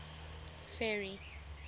ferry